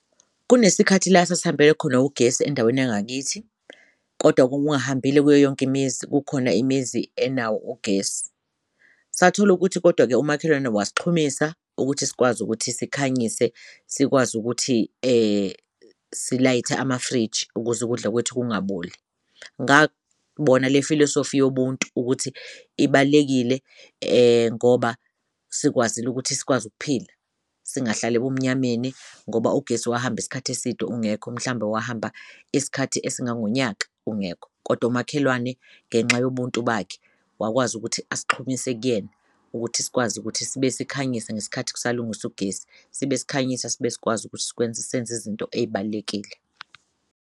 Kunesikhathi la sasihambelwe khona ugesi endaweni yangakithi kodwa wawungahambile kuyo yonke imizi, kukhona imizi enawo ugesi satholukuthi kodwa-ke umakhelwane wasixhumisa ukuthi sikwazi ukuthi sikhanyise sikwazi ukuthi silayithe amafriji ukuz'ukudla kwethu kungaboli. Ngabona le filosofi yomuntu ukuthi ibalulekile ngoba sikwazile ukuthi sikwazi ukuphila, singahlali ebumnyameni ngoba ugesi wahamb'isikhathi eside ungekho mhlawumbe wahamba isikhathi esingangonyaka ungekho kodwa umakhelwane ngenxa yobuntu bakhe wakwazi ukuthi asixhumise kuyena ukuthi sikwazi ukuthi sibe sikhanyisa ngesikhathi kusalungiswa ugesi sibe sikhanyisa sibe sikwazi ukuthi senz'izinto ey'balulekile.